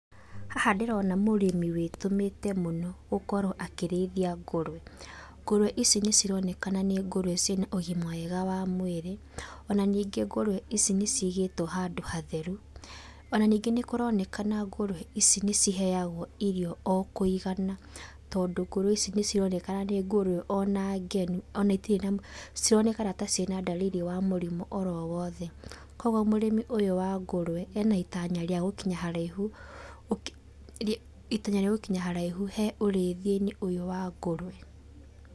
Haha ndĩrona mũrĩmĩ wĩtũmĩte mũno, gũkorwo akĩrĩithia ngũrwe. Ngũrũwe ici nĩ cironekana nĩ ngũrwe cina ũgima mwega wa mwĩrĩ, ona nĩngĩ ngũrwe ici nĩ cigĩtwo handũ hatheru, ona ningĩ nĩ kũronekana ngũrwe ici nĩ ciheagwo irio o kũigana, tondũ ngũrwe ici nĩ cironekana nĩ ngũrũ ona ngenu, ona itiri na citironekana cina ndariri wa mũrimũ oro wothe. Koguo mũrĩmi ũyũ wa ngũrwe, ena itanya rĩa gũkinya haraihu, itanya rĩa gũkinya haraihu he ũrĩithianĩ ũyũ wa ngũrwe.